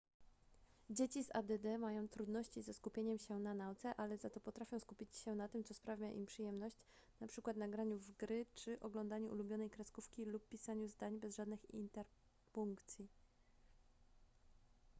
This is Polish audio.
dzieci z add mają trudności ze skupieniem się na nauce ale za to potrafią skupić się na tym co sprawia im przyjemność np na graniu w gry czy oglądaniu ulubionej kreskówki lub pisaniu zdań bez żadnej interpunkcji